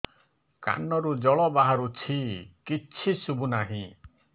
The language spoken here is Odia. କାନରୁ ଜଳ ବାହାରୁଛି କିଛି ଶୁଭୁ ନାହିଁ